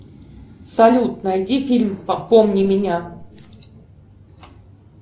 салют найди фильм помни меня